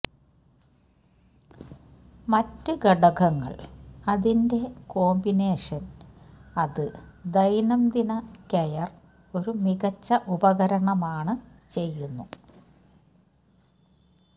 മറ്റ് ഘടകങ്ങൾ അതിന്റെ കോമ്പിനേഷൻ അത് ദൈനംദിന കെയർ ഒരു മികച്ച ഉപകരണമാണ് ചെയ്യുന്നു